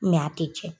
a tɛ tiɲɛ